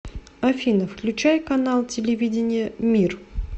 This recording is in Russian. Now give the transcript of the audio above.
афина включай канал телевидения мир